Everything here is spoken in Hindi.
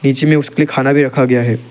इसलिए उसके खाना भी रखा गया है।